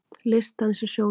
Listdans í sjónum